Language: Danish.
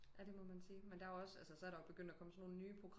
Ja det må man sige men der er jo også så er der begyndt at komme sådan nogen nye